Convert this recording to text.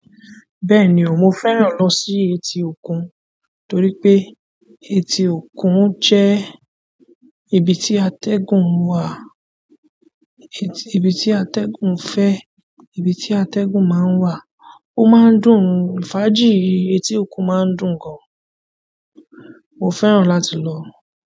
Bẹ́ẹ̀ni, mo fẹ́ran lọ sí etí òkun, torí pé etí òkun jẹ́ ibi tí atẹ́gùn wà, ibi tí atẹ́gùn fẹ́, ibi tí atẹ́gùn máa ń wà. Ó máa ń dùn, fàájì etí òkun máa ń dùn gan. Mo fẹ́ràn láti lọ.